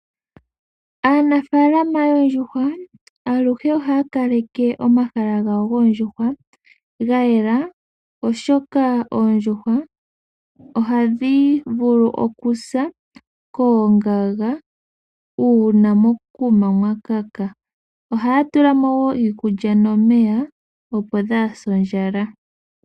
Aanafalama yoondjuhwa aluhe ohaya kaleke omahala gawo goondjuhwa ga yela, oshoka oondjuhwa ohadhi vulu okusa koongaga, uuna mokuma mwa kaka. Ohaya tula mo wo iikulya nomeya opo dhaa se ondjala.